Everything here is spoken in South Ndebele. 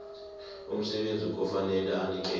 umsebenzi kufanele anikele